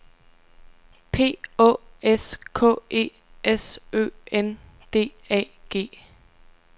P Å S K E S Ø N D A G